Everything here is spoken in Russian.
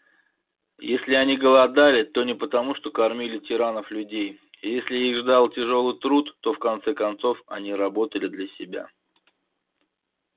если они голодали то не потому что кормили тиранов-людей если их ждал тяжёлый труд то в конце концов они работали для себя